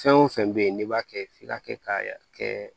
Fɛn o fɛn bɛ yen n'i b'a kɛ f'i ka kɛ k'a kɛ